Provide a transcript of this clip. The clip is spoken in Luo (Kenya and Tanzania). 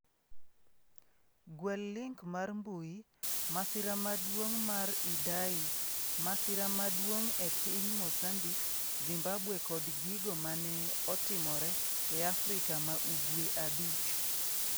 Gwel link mar mbui: Masira maduong' mar Idai: 'Masira maduong'' e piny Mozambik Zimbabwe kod gigo mane otimore e Afrika ma Ugwe abich.